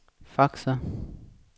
faxer